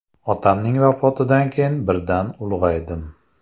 Otamning vafotidan keyin birdan ulg‘aydim.